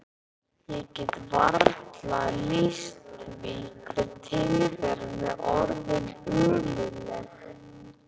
Ég get varla lýst því hve tilveran er orðin ömurleg.